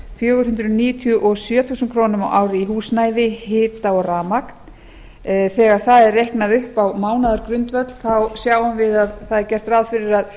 fjögur hundruð níutíu og sjö þúsund krónur á ári í húsnæði hita og rafmagn þegar það er reiknað upp á mánaðargrundvöll sjáum við að gert er ráð fyrir að